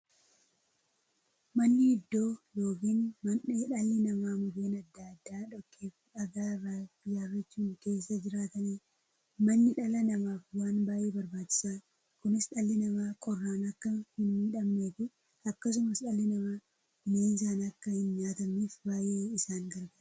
Manni iddoo yookiin mandhee dhalli namaa Mukkeen adda addaa, dhoqqeefi dhagaa irraa ijaarachuun keessa jiraataniidha. Manni dhala namaaf waan baay'ee barbaachisaadha. Kunis, dhalli namaa qorraan akka hinmiidhamneefi akkasumas dhalli namaa bineensaan akka hinnyaatamneef baay'ee isaan gargaara.